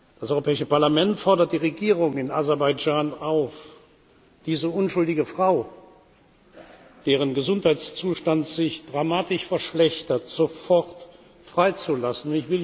Das Europäische Parlament fordert die Regierung in Aserbaidschan auf, diese unschuldige Frau, deren Gesundheitszustand sich dramatisch verschlechtert, sofort freizulassen.